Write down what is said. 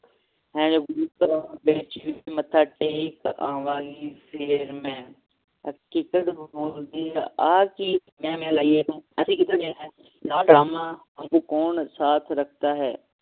ਹਰ ਇੱਕ ਧਰਮ ਵਿਚ ਇੱਕ ਮੱਥਾ ਟੇਕ ਆਵਾਂਗੀ ਫੇਰ ਮਈ ਹਕੀਕਤ ਬੋਲਦੀ ਹੈ ਆਹ ਕਿ ਮੈਂ ਮੈਂ ਲੈ ਹੈ ਤੂੰ ਅਸੀਂ ਕਿੱਧਰ ਗਏ ਹੈਂ ਹਨ ਡਰਾਮਾ ਕੌਣ ਸਾਥ ਰੱਖਦਾ ਹੈ